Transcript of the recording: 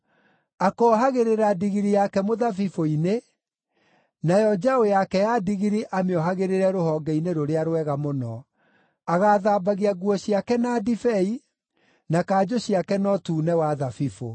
Akoohagĩrĩra ndigiri yake mũthabibũ-inĩ, nayo njaũ yake ya ndigiri amĩohagĩrĩre rũhonge-inĩ rũrĩa rwega mũno. Agaathambagia nguo ciake na ndibei, na kanjũ ciake na ũtune wa thabibũ.